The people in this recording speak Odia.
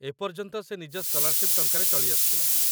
ଏପର୍ଯ୍ୟନ୍ତ ସେ ନିଜ ସ୍କଲାରଶିପ୍ ଟଙ୍କାରେ ଚଳି ଆସୁଥିଲା